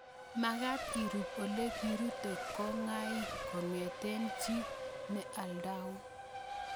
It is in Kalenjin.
Magat irup ole kirute ngokaik kongete chii ne aldaun